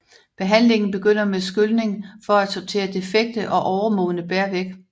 Behandlingen begynder med skylning for at sortere defekte og overmodne bær væk